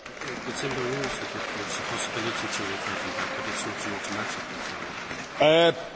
Panie Kolego, dziękuję Panu za tę uwagę, ale te decyzje nie są automatyczne.